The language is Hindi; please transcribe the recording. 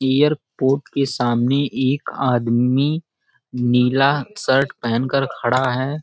एयरपोर्ट के सामने एक आदमी नीला शर्ट पहन के कर खड़ा है |